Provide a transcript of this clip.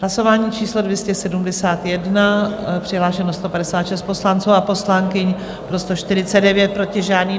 Hlasování číslo 271, přihlášeno 156 poslanců a poslankyň, pro 149, proti žádný.